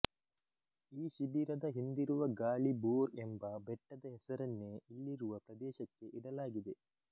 ಈ ಶಿಬಿರದ ಹಿಂದಿರುವ ಗಾಳಿಬೋರ್ ಎಂಬ ಬೆಟ್ಟದ ಹೆಸರನ್ನೇ ಇಲ್ಲಿರುವ ಪ್ರದೇಶಕ್ಕೆ ಇಡಲಾಗಿದೆ